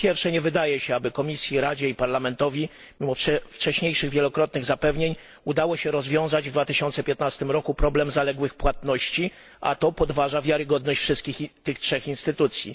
Po pierwsze, nie wydaje się, aby Komisji, Radzie i Parlamentowi mimo wcześniejszych wielokrotnych zapewnień udało się rozwiązać w 2015 roku problem zaległych płatności, a to podważa wiarygodność wszystkich tych trzech instytucji.